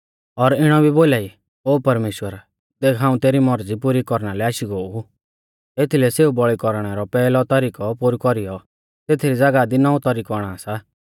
और इणौ भी बोलाई ओ परमेश्‍वर देख हाऊं तेरी मौरज़ी पुरी कौरना लै आशी गो ऊ एथीलै सेऊ बौल़ी कौरणै रौ पैहलौ तरिकौ पोरु कौरीयौ तेथरी ज़ागाह दी नौंवौ तरिकौ आणा सा